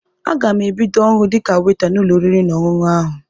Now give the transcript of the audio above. Aga m ebido ọrụ dịka weta n'ụlọ oriri na ọṅụṅụ ahụ.